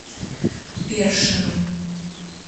першину